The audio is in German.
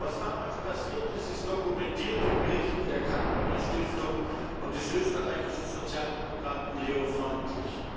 Was damals passiert ist, ist dokumentiert in Berichten der Carnegie Stiftung und des österreichischen Sozialdemokraten Leo Freundlich.